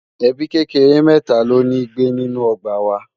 ẹbí kékeré mẹta ló ní gbé nínú ogbà wà